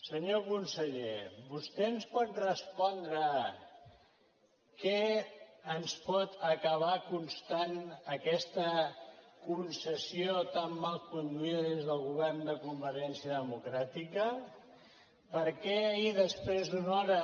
senyor conseller vostè ens pot respondre què ens pot acabar costant aquesta concessió tan mal conduïda des del govern de convergència democràtica per què ahir després d’una hora